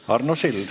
Arno Sild.